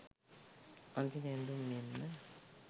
අඳීන ඇඳුම් මෙන්ම